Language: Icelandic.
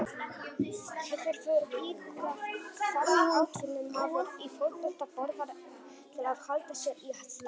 Hefurðu íhugað hvað atvinnumaður í fótbolta borðar til að halda sér í standi?